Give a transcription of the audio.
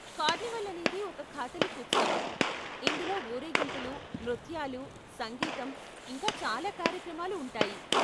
Carnival అనేది ఒక Catholic ఉత్సవం, ఇందులో ఊరేగింపులు, నృత్యాలు, సంగీతం, ఇంకా చాలా కార్యక్రమాలు ఉంటాయి.